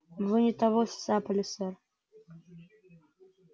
вы не того сцапали сэр